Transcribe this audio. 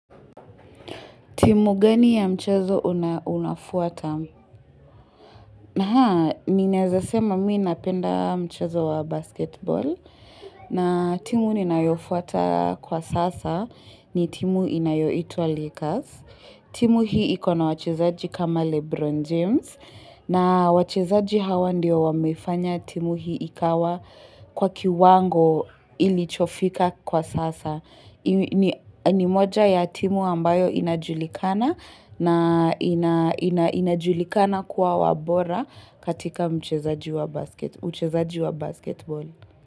Timu gani ya mchezo unafuata? Haa, ninaeneza sema mii napenda mchezo wa basketball, na timu ninayofuata kwa sasa ni timu inayoitwa Lakers. Timu hii ikona wachezaji kama Lebron James, na wachezaji hawa ndio wamefanya timu hii ikawa kwa kiwango ilichofika kwa sasa. Ni moja ya timu ambayo inajulikana na inajulikana kuwa wabora katika mchezaji wa basketball.